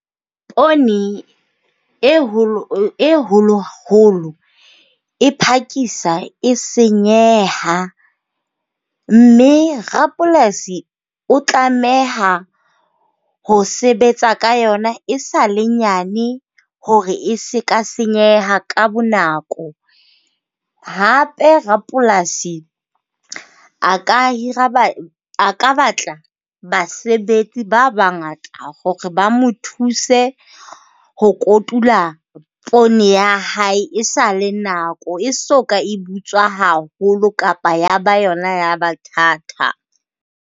Poone e holo holo, holo, e phakisa e senyeha. Mme rapolasi o tlameha ho sebetsa ka yona esale nyane hore e se ka senyeha ka bonako. Hape rapolasi a ka hira a ka batla basebetsi ba bangata hore ba mo thuse ho kotula poone ya hae, esale nako, e so ka e butswa haholo kapa ya ba yona ya ba thata.